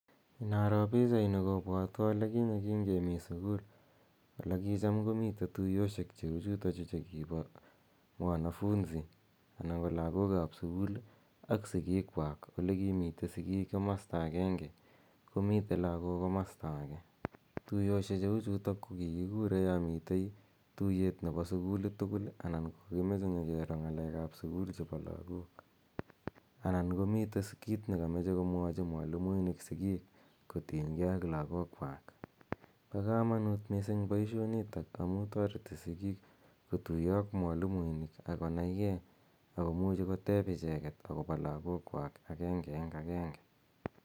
Inaro pichaini kopwatwa ole kinye kemi sukul ole kicham tuyoshek che u chutachu che kipa wanafunzi anan ko lagook ap sukul ak sikiikwak ole kimitei sikiik komasta agenge komitei lagook komasta age. Tuyoshechutok ko kikikure ya mitei tuyet nepo sukulit tugul anan ko kakimache nyikiro ng'alek ap sukul chepo lagook anan ko mitei kiit ne kamache komwachi mwalimuinik sikiik kotinygei ak lagookwak. pa kamanut missing' poishonitok amu tareti sikiik kotuyo ak mwalimuinik ako nai gee ako muchi koteep icheget ako pa lagokwak agenge eng' agenge.